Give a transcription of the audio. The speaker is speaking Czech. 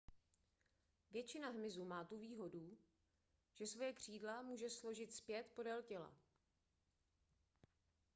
většina hmyzu má tu výhodu že svoje křídla může složit zpět podél těla